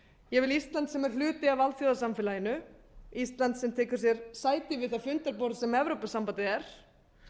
ég vil ísland sem er hluti af alþjóðasamfélaginu ísland sem tekur sér sæti við það fundarborð þar sem evrópusambandið er